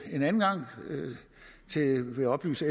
en anden gang vil jeg oplyse